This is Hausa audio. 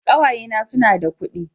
Ƙawaye na su na da kudi